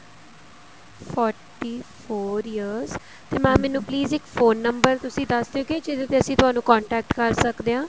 forty four years ਤੇ mam ਮੈਨੂੰ please ਇੱਕ ਫੋਨ ਨੰਬਰ ਤੁਸੀਂ ਦੱਸ ਦਿਓਗੇ ਜਿਹਦੇ ਤੇ ਅਸੀਂ ਤੁਹਾਨੂੰ contact ਕਰ ਸਕਦੇ ਆਂ